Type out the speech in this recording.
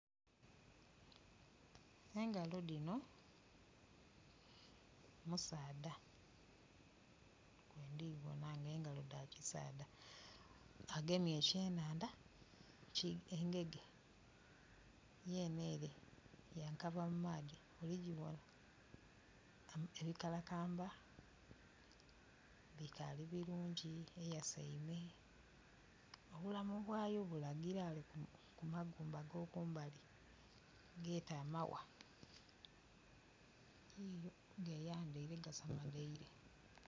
Engalo dhino musaadha bwendibona nga engalo dha kisaadha. Agemye ekyenhandha, engege yene ere yakava mu maadhi, oligibona? Ebikalakamba bikali birungi eyaseime . Obulamu bwayo bulagila ghale ku magumba agokumbali geette amawa, geyandeire kasamaleire.